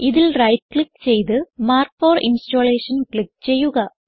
ഇതിൽ right click ചെയ്ത് mark for installation click ചെയ്യുക